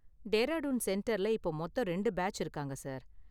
டேராடூன் சென்டர்ல இப்ப மொத்தம் ரெண்டு பேட்ச் இருக்காங்க, சார்.